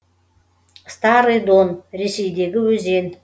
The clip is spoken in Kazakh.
старый дон ресейдегі өзен